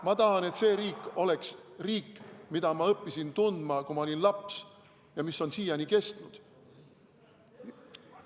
Ma tahan, et see riik oleks riik, mida ma õppisin tundma, kui ma olin laps, ja mis on siiani kestnud.